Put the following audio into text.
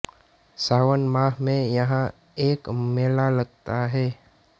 सावन माह में यहां एक मेला लगता है